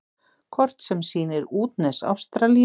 Kort sem sýnir útnes Ástralíu.